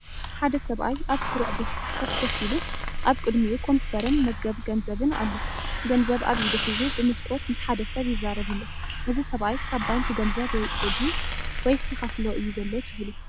ሓደ ሰብኣይ ኣብ ስሩዕ ቤት ጽሕፈት ኮፍ ኢሉ፣ ኣብ ቅድሚኡ ኮምፒተርን መዝገብ ገንዘብን ኣሎ። ገንዘብ ኣብ ኢዱ ሒዙ፡ ብመስኮት ምስ ሓደ ሰብ ይዛረብሎ። ።እዚ ሰብኣይ ካብ ባንክ ገንዘብ የውጽእ ድዩ ወይስ ይኸፍሎ እዩ ዘሎ ትብሉ?